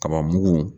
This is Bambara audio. Kaba mugu